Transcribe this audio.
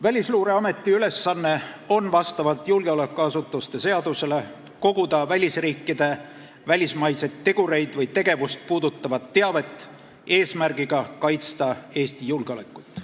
Välisluureameti ülesanne on vastavalt julgeolekuasutuste seadusele koguda välisriike, välismaiseid tegureid või tegevust puudutavat teavet eesmärgiga kaitsta Eesti julgeolekut.